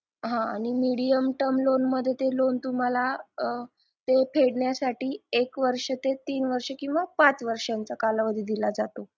हा आणि medium term loan मध्ये ते लोन तुम्हाला ते फेडण्यासाठी एक वर्ष ते तीन वर्ष किंवा पाच वर्ष कालावधी दिला जातो